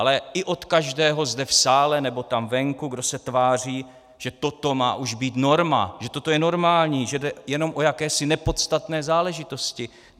Ale i od každého zde v sále nebo tam venku, kdo se tváří, že toto má už být norma, že toto je normální, že jde jenom o jakési nepodstatné záležitosti.